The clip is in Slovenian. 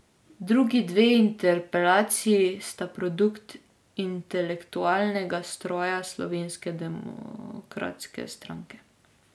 Drugi dve interpelaciji sta produkt intelektualnega stroja Slovenske demokratske stranke.